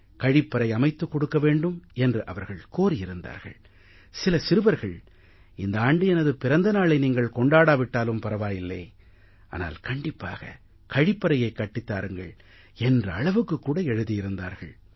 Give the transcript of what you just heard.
கழிப்பறை அமைத்துக் கொடுக்க வேண்டும் என்று அவர்கள் கோரியிருந்தார்கள் சில சிறுவர்கள் இந்த ஆண்டு எனது பிறந்த நாளை நீங்கள் கொண்டாடா விட்டாலும் பரவாயில்லை ஆனால் கண்டிப்பாக கழிப்பறையை கட்டித் தாருங்கள் என்ற அளவுக்குக் கூட எழுதியிருந்தார்கள்